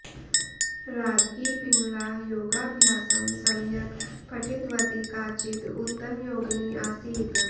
राज्ञी पिङ्गळा योगाभ्यासं सम्यक् पठितवती काचित् उत्तमयोगिनी आसीत्